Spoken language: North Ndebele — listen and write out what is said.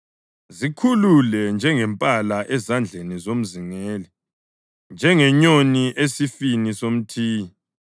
Zikhulule njengempala ezandleni zomzingeli, njengenyoni esifini somthiyi.